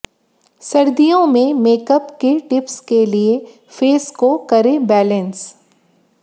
सर्दियों में मेकअप के टिप्स के लिए फेस को करें बैलेंस